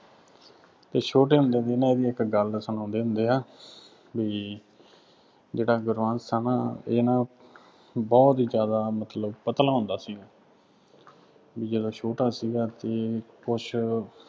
ਅਤੇ ਛੋਟੇ ਹੁੰਦਿਆਂ ਦੀ ਨਾ ਇਹਦੀ ਇੱਕ ਗੱਲ ਸੁਣਾਉਂਦੇ ਹੁੰਦੇ ਆ, ਬਈ, ਜਿਹੜਾ ਗੁਰਬੰਸ਼ ਆ ਨਾ, ਇਹ ਨਾ ਬਹੁਤ ਹੀ ਜ਼ਿਆਦਾ ਮਤਲਬ ਪਤਲਾ ਹੁੰਦਾ ਸੀ। ਜਦੋਂ ਛੋਟਾ ਸੀਗਾ ਅਤੇ ਕੁੱਛ